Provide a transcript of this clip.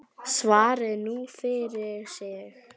Svari nú hver fyrir sig.